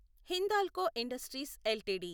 Hindalco industries LTD